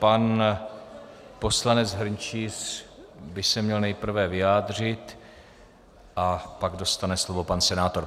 Pan poslanec Hrnčíř by se měl nejprve vyjádřit a pak dostane slovo pan senátor.